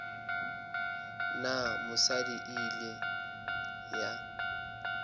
na mosadi e kile ya